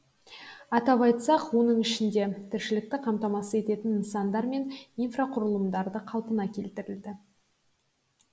атап айтсақ оның ішінде тіршілікті қамтамасыз ететін нысандар мен инфрақұрылымдары қалпына келтірілді